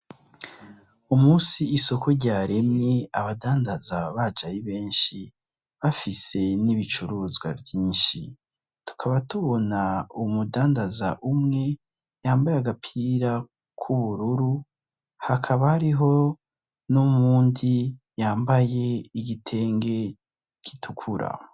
Umusi isoko ryaremye abadandaza baje Ari benshi bafise n'ibicuruzwa vyinshi tukaba tubona umudandaza umwe yambaye agapira k'ubururu hakaba hariho nuwundi yambaye igitenge gitukura.